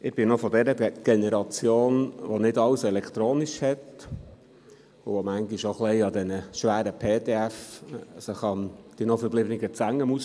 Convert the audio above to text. Ich bin von noch von der Generation, die nicht alles elektronisch hat und sich manchmal an diesen schweren PDF die noch verbliebenen Zähne ausbeisst.